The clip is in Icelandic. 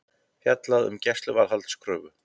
Fjallað um gæsluvarðhaldskröfu